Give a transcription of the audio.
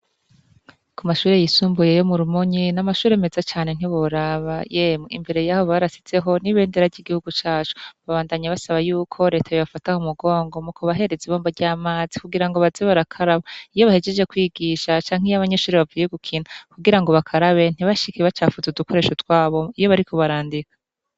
Ku mashure yisumbuye yo Murumonyi, n'amashure meza cane ntiworaba, yemwee ,imbere yaho barashizeho n'ibendera ry'igihugu cacu, babandanya basaba yuko Reta yobafata mu mugongo mukubahereza ibombo ry'amazi kugira ngo baze barakaraba iyo bahejeje kw'igisha canke iyo abanyeshure bavuye gukina kugira bakarabe ntibacafuze udukoresho twabo iyo bariko barandika.